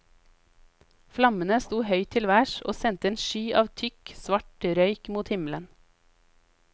Flammene sto høyt til værs, og sendte en sky av tykk, svart røyk mot himmelen.